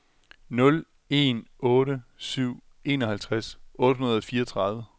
nul en otte syv enoghalvtreds otte hundrede og fireogtredive